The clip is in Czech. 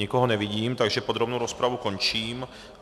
Nikoho nevidím, takže podrobnou rozpravu končím.